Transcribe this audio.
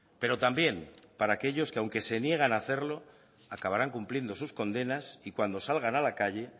pero también para aquellos que aunque se niegan hacerlo acabarán cumpliendo sus condenas y cuando salgan a la calle